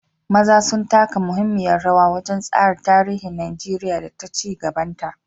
maza sun taka muhimmiyar rawa wajen tsara tarihin Najeriya da ci gabanta.